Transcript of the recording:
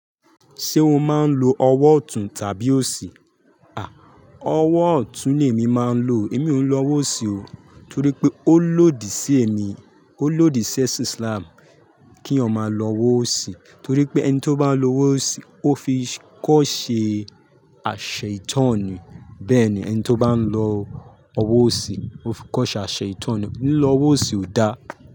Ṣé o máa ń lo ọwọ́ ọ̀tún tàbí òsì? Ọwọ́ ọ̀tún ni èmi máa ń lo. Èmi ò ń lo ọwọ́ òsì o, torí pé ó lòdì sí èmi, ó lòdì sí ẹ̀sìn Islam kí èyàn máa lo ọwọ́ òsì. Torí pé ẹni tí ó bá ń lo ọwọ́ òsì ó fi kọ́ ṣe aṣeitan ni. Bẹ́ẹ̀ ni ẹni tí ó bá ń lo ọwọ́ òsì ó fi kọ́ ṣe aseitan ni. Lílọ ọwọ́ òsì ò da.